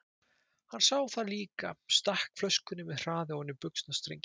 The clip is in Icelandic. Hann sá það líka, stakk flöskunni með hraði ofan í buxnastrenginn.